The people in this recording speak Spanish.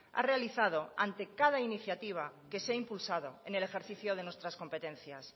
ha realizado ante cada iniciativa que se ha impulsado en el ejercicio de nuestras competencias